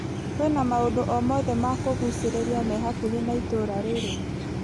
Kwĩna maũndũ o mothe ma kũgucĩrĩria me hakuhĩ na itũra rĩrĩ .